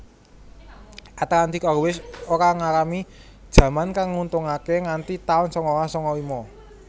Atlantic Airways ora ngalami jaman kang nguntungake nganti tahun sangalas sanga lima